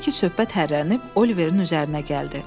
Odur ki, söhbət hərrənib Oliverin üzərinə gəldi.